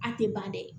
A tɛ ban dɛ